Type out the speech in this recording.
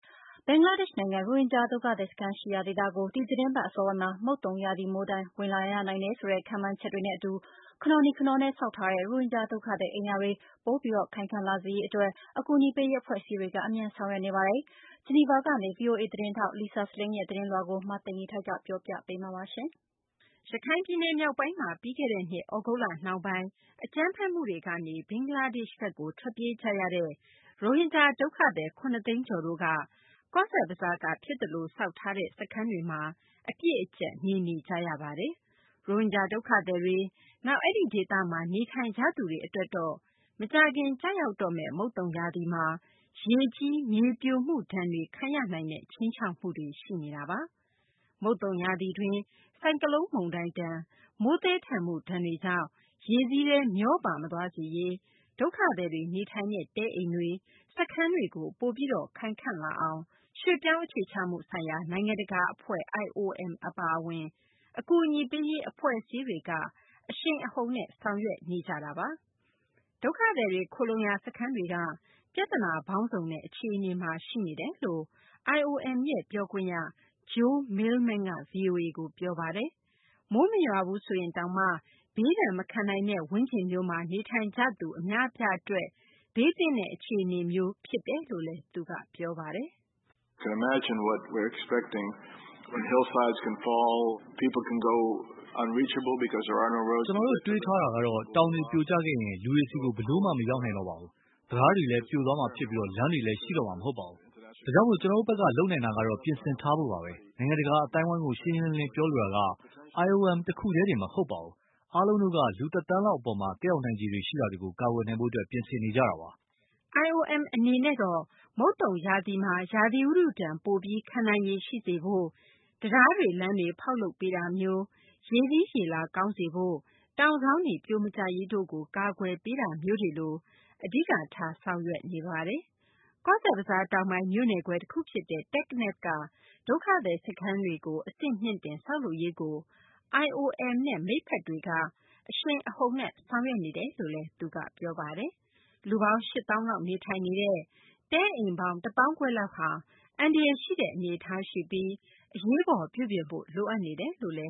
ဘင်္ဂလားဒေရှ့် နိုင်ငံ ရိုဟင်ဂျာ ဒုက္ခသည် စခန်းတွေရှိရာ ဒေသကို အစောဆုံး ဒီသတင်းပတ် အစောပိုင်းမှာ မုတ်သုန်ရာသီ မိုးဒဏ်ခံရနိုင်တယ်ဆိုတဲ့ ခန့်မှန်းချက်တွေနဲ့ အတူ ခနော်နီ ခနော်နဲ့ ဆောက်ထားတဲ့ ရိုဟင်ဂျာ ဒုက္ခသည် အိမ်ယာတွေ ပိုပြီး ခိုင်ခန့်လာစေရေး အတွက် အကူအညီပေးရေး အဖွဲ့အစည်းတွေ အမြန်ဆောင်ရွက်နေကြပါတယ်။ ဂျီနီဗာကနေ ဗွီအိုအေ သတင်းထောက် Lisa Schlein ရဲ့ သတင်းကို မသိင်္ဂ ီထိုက် ပြောပြပေးမှာပါ။ ရခိုင်ပြည်နယ် မြောက်ပိုင်းမှာ ပြီးခဲ့တဲ့နှစ် သြဂုတ်လနှောင်းပိုင်း အကြမ်းဖက်မှုတွေကြောင့် ဘင်္ဂလားဒေရှ့်ကို ထွက်ပြေးလာကြတဲ့ ရိုဟင်ဂျာ ဒုက္ခသည် ၇ သိန်းကျော်တို့က ဘင်္ဂလားဒေရှ့် နိုင်ငံ ကော့ဇ်ဘဇားက ဖြစ်သလို ဆောက်ထားရတဲ့ စခန်းတွေမှာ အပြည့်အကျပ် နေနေကြတာပါ။ ရိုဟင်ဂျာ ဒုက္ခသည်တွေ၊ နောက် အဲဒီ ဒေသမှာ နေထိုင်ကြသူတွေ အတွက်တော့ မကြာခင် ကျရောက်တော့မယ့် မုတ်သုန်ရာသီမှာ ရေကြီး မြေပြိုမှုတွေဒဏ် ခံရနိုင်တဲ့ ခြိမ်းခြောက်မှုတွေ ရှိနေတာပါ။ မုတ်သုန်ရာသီတွင်း ဆိုင်ကလုန်း မုန်တိုင်းဒဏ်၊ မိုးသည်ထန်မှုဒဏ်ကြောင့် ရေစီးထဲ မျောပါ မသွားစေရေး ဒုက္ခသည်တွေ နေထိုင်ရာ တဲအိမ်တွေ၊ စခန်းတွေ ပိုပြီး ခိုင်ခံ့အောင် ရွှေ့ပြောင်းအခြေချမှုဆိုင်ရာ နိုင်ငံတကာ အဖွဲ့ IOM အပါအဝင် အကူအညီပေးရေး အဖွဲ့အစည်းတွေက အရှိန်အဟုန်နဲ့ ဆောင်ရွက်နေကြတာပါ။ ဒုက္ခသည်တွေ ခိုလှုံရာ စခန်းတွေက ပြသနာပေါင်းစုံနဲ့ အခြေအနေမှာ ရှိတယ်လို့ IOM ပြောခွင့်ရ Joel Millman က ဗွီအိုအေကို ပြောပါတယ်။ မိုးမရွာဘူးဆိုရင်တောင်မှာ ဘေးဒဏ် မခံနိုင်တဲ့ ပတ်ဝန်းကျင်မျိုးမှာ နေထိုင်ကြသူ အများအပြား အတွက် ဘေးသင့်တဲ့ အခြေအနေမျိုး ဖြစ်တယ်လို့လည်း သူက ပြောပါတယ်။ "ကျနော်တို့ တွေးထားတာကတော့ တောင်တွေ ပြိုကျခဲ့ရင် လူတွေဆီကို ဘယ်လိုမှ မရောက်နိုင်တော့ပါဘူး။ တံတားတွေလည်း ပြိုသွားမှာ ဖြစ်ပြီး လမ်းတွေလည်း ရှိတော့မှာ မဟုတ်ပါဘူး။ ဒါကြောင့် ကျနော်တို့ဘက်က လုပ်နိုင်တာကတော့ ပြင်ဆင်ထားဖို့ပါဘဲ။ နိုင်ငံတကာ အသိုင်းအဝိုင်းကို ရှင်းရှင်းလင်းလင်း ပြောလိုတာကတော့ IOM တခုတည်းတင် မဟုတ်ပါဘူး အားလုံးတို့က လူတသန်းလောက် အပေါ် သက်ရောက်နိုင်ခြေ ရှိတာတွေကို ကာကွယ်နိုင်ဖို့ ပြင်ဆင်နေကြတာပါ။" IOM အနေနဲ့တော့ မုတ်သုန်ရာသီမှာ ရာသီဥတုဒဏ် ပိုပြီး ခံနိုင်ရည် ရှိစေဖို့ တံတားတွေ၊ လမ်းတွေ ဖောက်လုပ်ပေးတာမျိုး၊ရေစီးရေလာကောင်းစေရေး၊ တောင်စောင်းတွေ ပြိုမကျရေးကို ကာကွယ်ပေးတာမျိုးတွေကို အဓိကထား ဆောင်ရွက်နေပါတယ်။ ကောဇ်ဘဇား တောင်ပိုင်း မြို့နယ်ခွဲ တခုဖြစ်တဲ့ တက္ကနဖ်က ဒုက္ခသည် စခန်းတွေကို အဆင့်မြှင့်တင် ဆောက်လုပ်ရေးကို IOM နဲ့ မိတ်ဖက်တွေက အရှိန်အဟုန်နဲ့ ဆောင်ရွက်နေတယ်လို့လည်း ပြောပါတယ်။ လူပေါင်း ၈ သောင်းလောက် နေထိုင်နေတဲ့ တဲအိမ်ပေါင်း ၁ သောင်းခွဲလောက်က အန္တရာယ် ရှိတဲ့ အနေအထား ရှိပြီး အရေးပေါ် ပြုပြင်ဖို့ လိုအပ်နေတယ်လို့လ